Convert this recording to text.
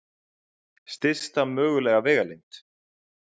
Stysta mögulega vegalengd.